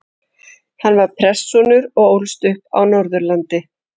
Hann var prestssonur og ólst upp á Norðurlandi.